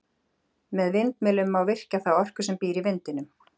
Með vindmyllum má virkja þá orku sem býr í vindinum.